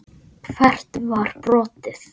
Hvert var brotið?